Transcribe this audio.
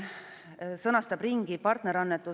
Muu hulgas küsiti 17. mail kirjalikke arvamusi huvigruppidelt.